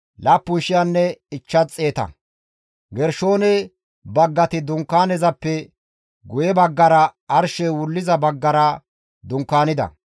Gershoone baggati Dunkaanezappe guye baggara arshey wulliza baggara dunkaanida.